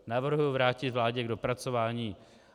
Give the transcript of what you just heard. Navrhuji vrátit vládě k dopracování.